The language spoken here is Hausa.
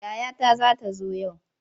Yayata za ta zo yau.